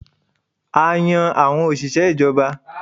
A yan àwọn òṣìṣẹ́ ìjọba